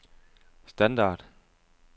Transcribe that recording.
standard